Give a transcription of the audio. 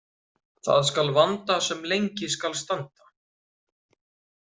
Það skal vanda sem lengi skal standa.